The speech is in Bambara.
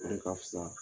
O de ka fusa